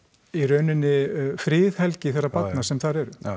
í rauninni friðhelgi þeirra barna sem þar eru